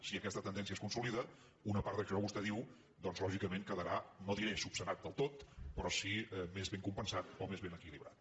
si aquesta tendència es consolida una part d’això que vostè diu doncs lògicament quedarà no diré resolt del tot però sí més ben compensat o més ben equilibrat